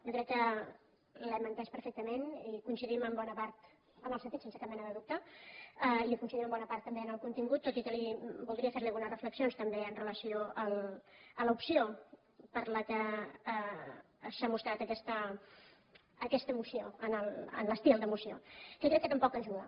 jo crec que l’hem entès perfectament i coincidim en bona part en el sentit sense cap mena de dubte i coincidim en bona part també en el contingut tot i que voldria fer li algunes reflexions també amb relació a l’opció per què s’ha mostrat aquesta moció en l’estil de moció que crec que tampoc ajuda